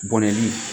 Bɔnɛli